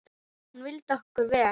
Hún vildi okkur vel.